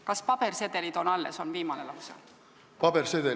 "Kas pabersedelid on alles?" oli viimane lause.